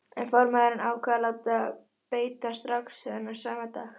En formaðurinn ákvað að láta beita strax þennan sama dag.